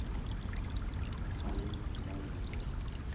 салют да я тоже